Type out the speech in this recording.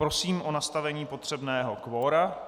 Prosím o nastavení potřebného kvora.